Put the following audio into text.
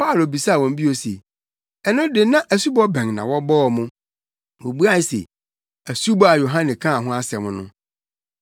Paulo bisaa wɔn bio se, “Ɛno de na asubɔ bɛn na wɔbɔɔ mo?” Wobuae se, “Asubɔ a Yohane kaa ho asɛm no.”